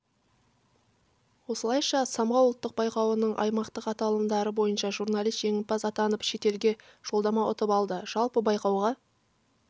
осылайша самғау ұлттық байқауының аймақтық аталымдары бойынша журналист жеңімпаз атанып шетелге жолдама ұтып алды жалпы байқауға